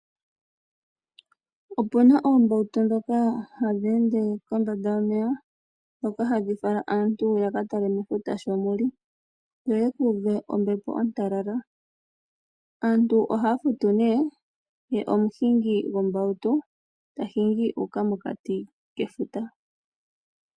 Opuna oombautu ndhoka hadhi ende kombanda yomeya ndhoka hadhi fala aantu ya katale mefuta sho muli ye omuhingi goo mbawutu tahingi a uka mokati kefuta.